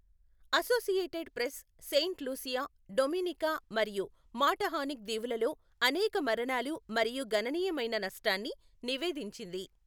Associated Press, Saint Lucia, Dominica మరియు మాటహానీక్ దీవులలో అనేక మరణాలు మరియు గణనీయమైన నష్టాన్ని నివేదించింది.